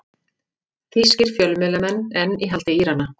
Þýskir fjölmiðlamenn enn í haldi Írana